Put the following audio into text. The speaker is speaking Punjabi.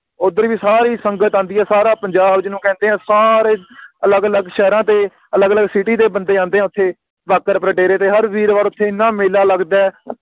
ਓਥਰ ਵੀ ਸਾਰੀ ਸੰਗਤ ਆਂਦੀ ਆ ਸਾਰਾ ਪੰਜਾਬ ਜਿਹਨੂੰ ਕਹਿੰਦੇ ਆ ਸਾਰੇ ਅਲੱਗ ਅਲੱਗ ਸ਼ਹਿਰਾਂ ਤੇ ਅਲੱਗ ਅਲੱਗ ਦੇ ਬੰਦੇ ਆਉਂਦੇ ਆ ਓਥੇ ਬਾਗ਼ਰਪੁਰ ਡੇਰੇ ਤੇ ਹਰ ਵੀਰਵਾਰ ਓਥੇ ਇੰਨਾ ਮੇਲਾ ਲੱਗਦਾ ਏ